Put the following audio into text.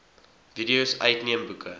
videos uitneem boeke